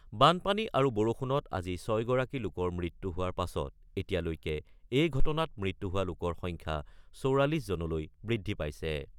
বানপানী আৰু বৰষুণত আজি ৬গৰাকী লোকৰ মৃত্যু হোৱাৰ পাছত এতিয়ালৈকে এই ঘটনাত মৃত্যু হোৱা লোকৰ সংখ্যা ৪৪জনলৈ বৃদ্ধি পাইছে।